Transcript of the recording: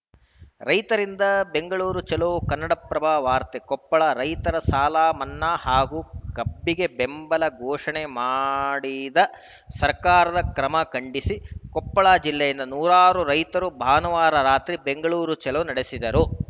ರೈತರಿಂದ ಬೆಂಗಳೂರು ಚಲೋ ಕನ್ನಡಪ್ರಭ ವಾರ್ತೆ ಕೊಪ್ಪಳ ರೈತರ ಸಾಲಮನ್ನಾ ಹಾಗೂ ಕಬ್ಬಿಗೆ ಬೆಂಬಲ ಘೋಷಣೆ ಮಾಡಿ ದ ಸರ್ಕಾರದ ಕ್ರಮಖಂಡಿಸಿ ಕೊಪ್ಪಳ ಜಿಲ್ಲೆಯಿಂದ ನೂರಾರು ರೈತರು ಭಾನುವಾರ ರಾತ್ರಿ ಬೆಂಗಳೂರ ಚಲೋ ನಡೆಸಿದರು